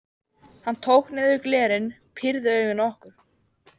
Hann tók niður glerin, pírði augun á okkur.